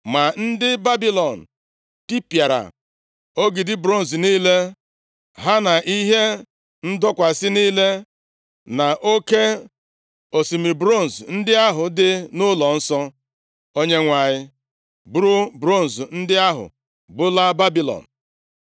Ma ndị Babilọn tipịara ogidi bronz niile, ha na ihe ndọkwasị niile na oke osimiri bronz ndị ahụ dị nʼụlọnsọ Onyenwe anyị, buru bronz ndị ahụ bulaa Babilọn.